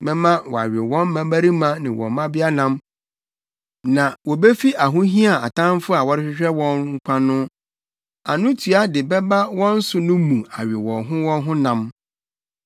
Mɛma wɔawe wɔn mmabarima ne wɔn mmabea nam, na wobefi ahohia a atamfo a wɔrehwehwɛ wɔn nkwa no anotua de bɛba wɔn so no mu awe wɔn ho wɔn ho nam.’